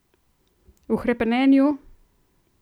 V hrepenenju?